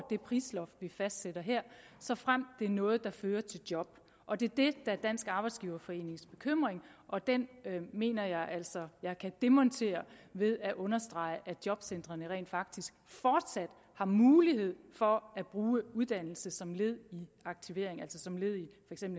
det prisloft vi fastsætter her såfremt det er noget der fører til job og det er det der er dansk arbejdsgiverforenings bekymring og den mener jeg altså jeg kan demontere ved at understrege at jobcentrene rent faktisk fortsat har mulighed for at bruge uddannelse som led i aktivering altså som led i